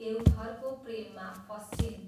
देवधरको प्रेममा फँस्छिन्।